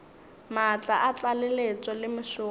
maatla a tlaleletšo le mešomo